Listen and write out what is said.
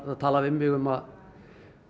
tala við mig um að